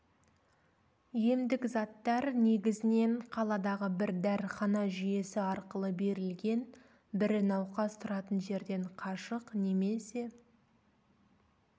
емдік заттар негізінен қаладағы бір дәріхана жүйесі арқылы берілген бірі науқас тұратын жерден қашық немесе